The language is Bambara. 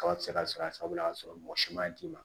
Kaba ti se ka sɔrɔ a sagola o y'a sɔrɔ mɔgɔ si ma d'i ma